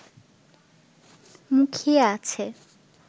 মুখিয়ে আছে